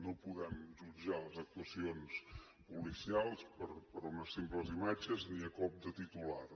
no podem jutjar les actuacions policials per unes simples imatges ni a cop de titular